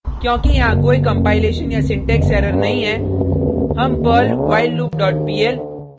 क्योंकि यहाँ कोई कंपाइलेशन या सिंटेक्स एरर नहीं है हम perl whileloop dot pl